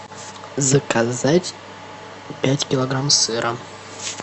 заказать пять килограмм сыра